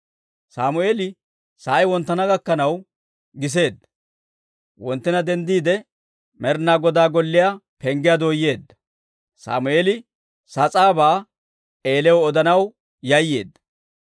Sammeeli sa'ay wonttana gakkanaw giseedda; wonttina denddiide, Med'inaa Godaa golliyaa penggiyaa dooyeedda. Sammeeli sas'aabaa Eeliyaw odanaw yayyeedda.